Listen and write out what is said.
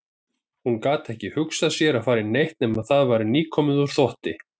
Hún gat ekki hugsað sér að fara í neitt nema það væri nýkomið úr þvotti.